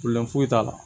foyi t'a la